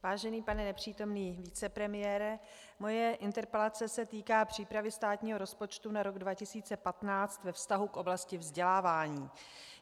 Vážený pane nepřítomný vicepremiére, moje interpelace se týká přípravy státního rozpočtu na rok 2015 ve vztahu k oblasti vzdělávání.